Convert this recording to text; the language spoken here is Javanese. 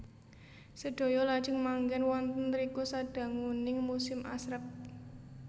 Sedaya lajeng manggèn wonten riku sadanguning musim asrep